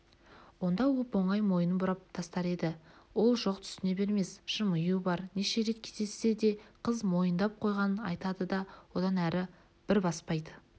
онда оп-оңай мойнын бұрап тастар еді ол жоқ түсіне бермес жымию бар неше рет кездессе де қыз мойындап қойғанын айтады да одан әрі бір баспайды